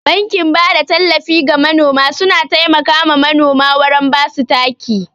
Bankin bada tallafi ga manoma suna taimaka ma manoma wurin basu taki.